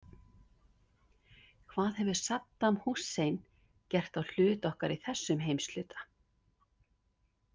Hvað hefur Saddam Hussein gert á hlut okkar í þessum heimshluta?